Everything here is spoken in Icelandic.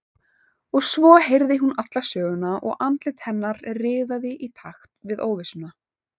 Og svo heyrði hún alla söguna og andlit hennar riðaði í takt við óvissuna.